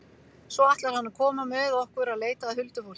Svo ætlar hann að koma með okkur að leita að huldufólki.